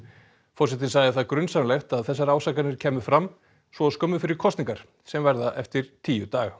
forsetinn sagði það grunsamlegt að þessar ásakanir kæmu fram svo skömmu fyrir kosningar sem verða eftir tíu daga